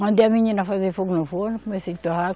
Mandei a menina fazer fogo no forno, comecei a torrar.